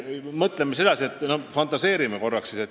Mõtleme edasi, fantaseerime korraks.